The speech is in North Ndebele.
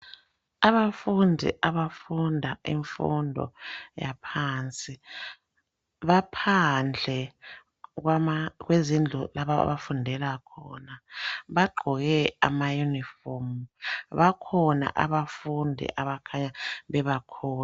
Abafundi abafunda imfundo yaphansi baphandle kwezindlu lapha abafundela khona bagqoke amayunifomu bakhona abafundi abakhanya bebakhulu.